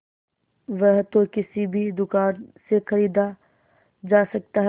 वह तो किसी भी दुकान से खरीदा जा सकता है